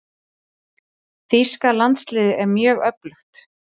Þýska landsliðið er mjög öflugt.